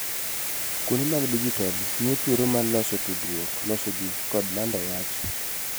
Kuonde mag dijital miyo thuolo mar loso tudruok, loso ji, kod lando wach.